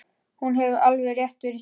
Hún hefur alveg rétt fyrir sér.